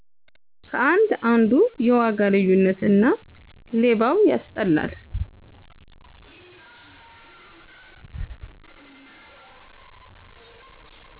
ከአንድ አንዱ የዋጋ ልዩነት እና ሌባው ያስጠላል